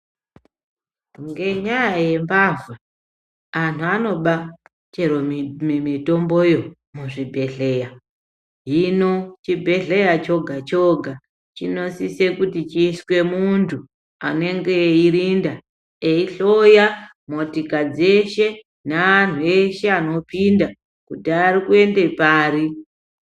Ngenyaa ye mbavha anhu anoba chero mitomboyo mu zvi bhedhleya hino chibhedhleya choga choga chino sise kuti chiiswe muntu anenge eyi rinda eyi hloya motika dzeshe ne anhu eshe ano pinda kuti ari kuende pari.